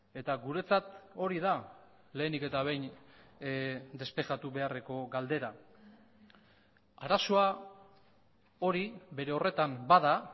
eta guretzat hori da lehenik eta behin despejatu beharreko galdera arazoa hori bere horretan bada